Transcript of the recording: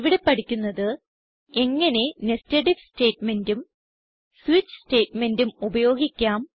ഇവിടെ പഠിക്കുന്നത് എങ്ങനെ നെസ്റ്റഡ് ഐഎഫ് സ്റ്റേറ്റ്മെന്റും സ്വിച്ച് സ്റ്റേറ്റ്മെന്റും ഉപയോഗിക്കാം